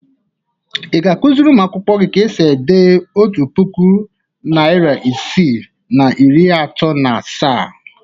Ị ga-akụziri ụmụakwụkwọ gị ka e si ede otu puku, narị isii na iri atọ na asaa?